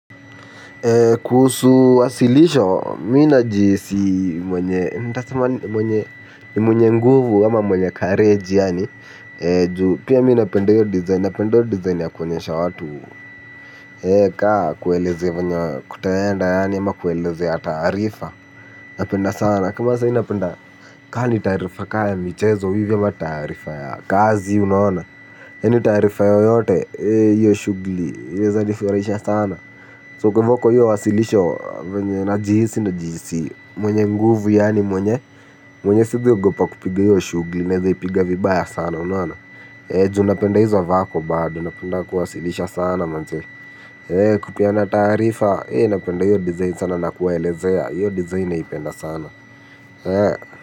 Kuhusu wasilisho, mimi najihisi mwenye nguvu ama mwenye courage yaani pia mimi napenda hiyo design napenda hiyo design ya kuonyesha watu. Kwa kuwaelezea venye kutaenda yaani ama kuelezea taarifa. Napenda sana kama sai napenda. Ka ni taarifa kaa ya michezo hivyo ama taarifa ya kazi unaona. Yaani taarifa yoyote hiyo shugli inaeza nifurahisha sana So kwaivo kwa hiyo wasilisho, venye najihisi najihisi mwenye nguvu yaani mwenye mwenye siezi ogopa kupiga hiyo shugli. Naeza ipiga vibaya sana unaona. Eh ju napenda hizo vako bado. Napenda kuwasilisha sana manze kupeana taarifa napenda hiyo design sana na kuwaelezea hiyo design naipenda sana.